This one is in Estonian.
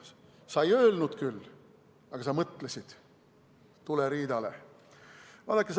Sa ei öelnud küll, aga sa mõtlesid: tuleriidale!